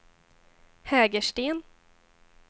Hägersten